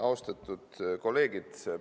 Austatud kolleegid!